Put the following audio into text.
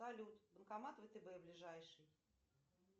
салют банкомат втб ближайший